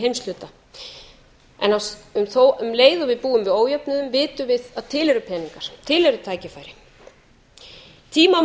heimshluta en þó um leið og við búum við ójöfnuðinn vitum við að til eru peningar til eru